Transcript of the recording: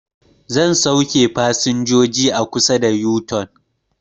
Zai sauke fasinjoji a kusa da yu-tun